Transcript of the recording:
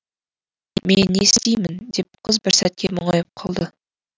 мен не істеймін деп қыз бір сәтке мұңайып қалды